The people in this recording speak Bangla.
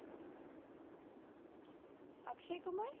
অক্ষয় কুমার,